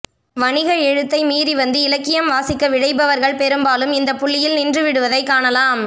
வணிக எழுத்தை மீறி வந்து இலக்கியம் வாசிக்க விழைபவர்கள் பெரும்பாலும் இந்தப்புள்ளியில் நின்றுவிடுவதைக் காணலாம்